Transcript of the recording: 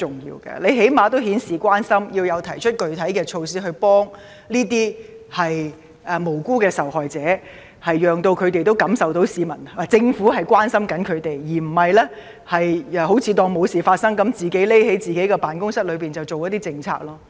他起碼應顯示關心，提出具體措施協助這些無辜的受害者，讓他們也能感受到政府官員的關懷，而不是當作沒事發生般，躲在自己的辦公室裏制訂政策。